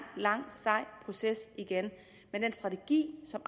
lang og sej proces men den strategi som